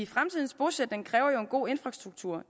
fremtidens bosætning kræver en god infrastruktur